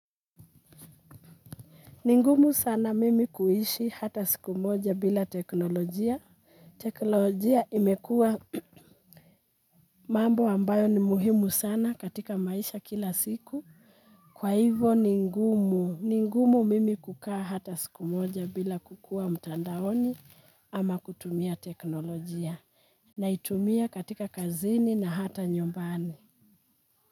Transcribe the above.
Ni ngumu sana mimi kuishi hata siku moja bila teknolojia. Teknolojia imekua mambo ambayo ni muhimu sana katika maisha kila siku. Kwa hivo ni ngumu, ni ngumu mimi kukaa hata siku moja bila kukua mtandaoni ama kutumia teknolojia. Naitumia katika kazini na hata nyumbani.